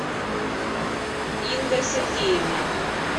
инга сергеевна